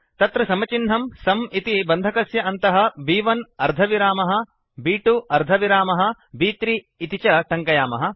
तत्र समचिह्नं सुं इति बन्धकस्य अन्तः ब्1 अर्धविरामः ब्2 अर्धविरामः ब्3 इति च टङ्कयामः